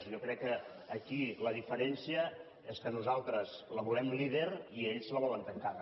jo crec que aquí la diferència és que nosaltres la volem líder i ells la volen tancada